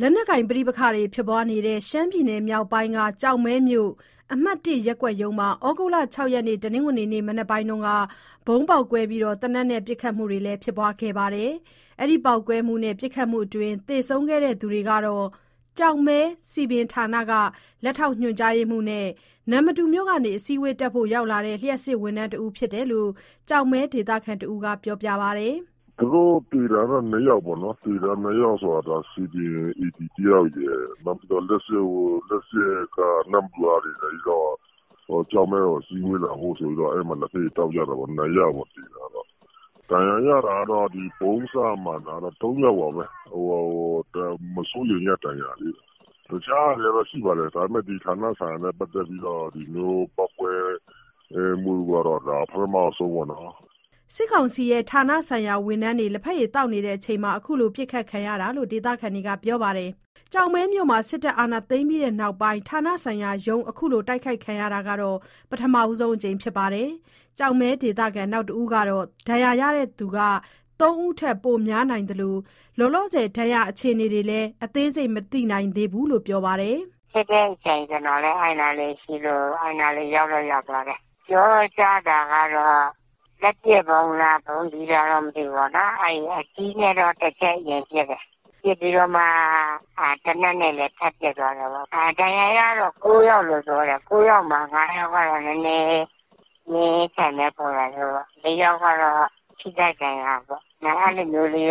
လက်နက်ကိုင် ပဋိပက္ခတွေ ဖြစ်နေတဲ့ ရှမ်းပြည်နယ်မြောက်ပိုင်းက ကျောက်မဲမြို့၊ အမှတ် ၁ ရပ်ကွက်ရုံးမှာ ဩဂုတ်လ ၆ ရက်၊ တနင်္ဂနွေနေ့ မနက်တုန်းက ဗုံးပေါက်ကွဲပြီး သေနတ်နဲ့ ပစ်ခတ်တာတွေလည်း ဖြစ်ခဲ့တာပါ။ ဒီပေါက်ကွဲမှုနဲ့ ပစ်ခတ်မှုအတွင်း သေဆုံးခဲ့သူတွေကတော့ ကျောက်မဲ စည်ပင်ဌာနက လက်ထောက် ညွှန်ကြားရေးမှူးနဲ့ နမ္မတူမြို့ကနေ အစည်းအဝေးတက်ဖို့ ရောက်လာတဲ့ လျှပ်စစ်ဝန်ထမ်းတဦး ဖြစ်တယ်လို့ ကျောက်မဲဒေသခံ တဦးက ပြောပါတယ်။ "သူတို့ သေတာတော့ ၂ ယောက်ပေါ့နော်။ သေတဲ့ ၂ ယောက်က စည်ပင် AD တယောက်ရယ်။ နောက်ပြီးတော့ နမ္မတူကနေလာတဲ့ လျှပ်စစ်က တယောက်ရယ်။ ကျောက်မဲကို အစည်းအဝေးလာဖို့ ဆိုပြီးတော့ အဲဒီမှာ လက်ဖက်ရည် သောက်ကြတာပေါ့။ ဒဏ်ရာရတာကတော့ ဗုံးစမှန်တာ ၃ ယောက်ပါပဲ။ မစိုးရိမ်ရတဲ့ ဒဏ်ရာတွေပါ။ ကျောက်မဲမှာ တခြား ဖြစ်တာတွေတော့ ရှိပါတယ်။ ဒါပေမဲ့ ဒီဌာနဆိုင်ရာနဲ့ ပတ်သက်ပြီးတော့ ဒီလိုမျိုး ပေါက်ကွဲမှုကတော့ ပထမဆုံးပေါ့နော်။" စစ်ကောင်စီရဲ့ ဌာနဆိုင်ရာ ဝန်ထမ်းတွေ လက်ဖက်ရည် သောက်နေချိန်မှာ အခုလို ပစ်ခတ်ခံရတာလို့ ဒေသခံတွေက ပြောပါတယ်။ ကျောက်မဲမြို့မှာ စစ်တပ်အာဏာ သိမ်းပြီးနောက်ပိုင်း၊ ဌာနဆိုင်ရာရုံး အခုလို တိုက်ခိုက်ခံရတာကတော့ ပထမဆုံးအကြိမ် ဖြစ်တယ်လို့လည်း ပြောပါတယ်။ ကျောက်မဲဒေသခံ နောက်တဦးကတော့ ဒဏ်ရာရသူက ၃ ဦးထက် ပိုများနိုင်သလို၊ လောလောဆယ် ဒဏ်ရာ အခြေအနေတွေလည်း အသေးစိတ် မသိနိုင်သေးဘူးလို့ ပြောပါတယ်။ "ဖြစ်တဲ့အချိန် ကျနော်လည်း အဲဒီအနားရှိလို့ ရောက်တော့ ရောက်သွားတယ်။ ပြောကြတာကတော့ လက်ပစ်ဗုံးလား။ ဗုံးကြီးလားတော့ မသိဘူးပေါ့နော်။ အကြီးနဲ့ အရင်ပစ်တယ်။ ပစ်ပြီးတော့မှ သေနတ်နဲ့လည်း ထပ် ပစ်သွားတယ်ပေါ့။ ဒဏ်ရာရတာက ၉ ယောက်လို့တော့ ပြောတယ်။ ၉ ယောက်မှာ ၅ ယောက်ကတော့ နည်းနည်းပြင်းထန်တဲ့ ပုံစံမျိုးပေါ့။ ၄ ယောက်ကတော့ ထိခိုက်ဒဏ်ရာပေါ့။ အဲလိုမျိုးတော့